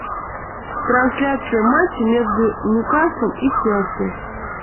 трансляция матча между ньюкаслом и челси